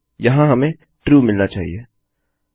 यहाँ हमें ट्रू मिलना चाहिए